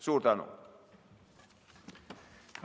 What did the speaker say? Suur tänu!